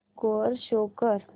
score show कर